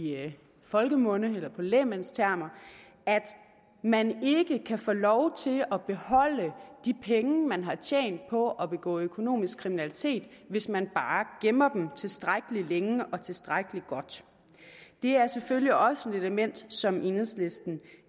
folkemunde i lægmandstermer at man ikke kan få lov til at beholde de penge man har tjent på at begå økonomisk kriminalitet hvis man bare gemmer dem tilstrækkelig længe og tilstrækkelig godt det er selvfølgelig også et element som enhedslisten